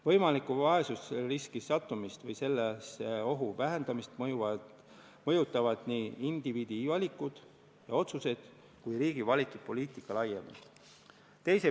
Võimalikku vaesusriski sattumist või selle ohu vähendamist mõjutavad nii indiviidi valikud ja otsused kui ka riigi valitud poliitika laiemalt.